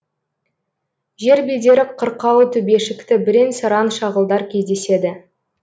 жер бедері қырқалы төбешікті бірен саран шағылдар кездеседі